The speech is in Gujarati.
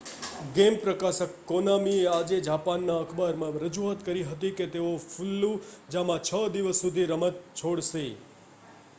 ગેમ પ્રકાશક કોનામીએ આજે જાપાનના અખબારમાં રજૂઆત કરી હતી કે તેઓ ફલ્લુજામાં છ દિવસ સુધી રમત છોડશે નહીં